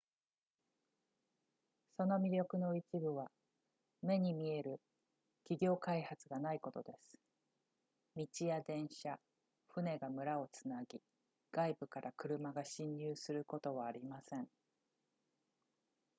その魅力の一部は目に見える企業開発がないことです道や電車船が村をつなぎ外部から車が進入することはありません